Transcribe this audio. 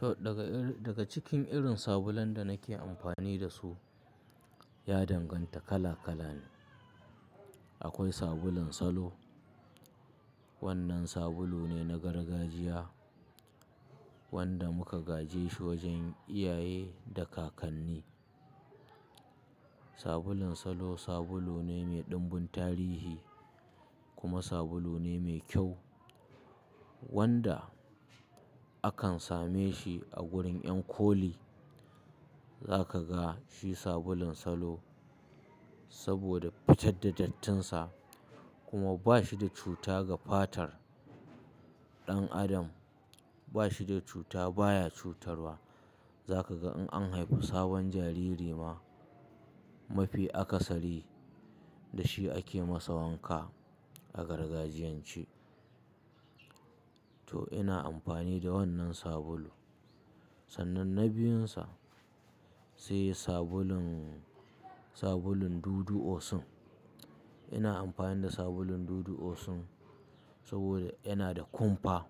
To daga irin, daga cikin irin sabulan da nake amfani da su, ya danganta kala kala ne. Akwai sabulun Salo, wannan sabulu ne na gargajiya wanda muka gajeshi wajen iyaye da kakanni. Sabulun Salo sabulu ne mai ɗumbun tarihi kuma sabulu ne mai kyau wanda akan same shi a gurin ƴan koli. Zaka ga shi sabulun Salo saboda fitar da dattinsa kuma ba shi da cuta ga fatar ɗan adam. Ba shi da cuta, baya cutarwa. Zaka ga in an haifu sabon jariri ma mafi aka sari, da shi ake masa wanka a gargajiyance. To ina amfani da wannan sabulu. Sannan na biyunsa, sai sabulun, sabulun Dudu Osun. Ina amfani da sabulun Dudu Osun saboda yana da kumfa.